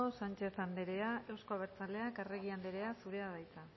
sánchez anderea euzko abertzaleak arregi anderea zurea da hitza